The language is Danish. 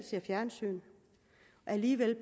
fjernsyn men alligevel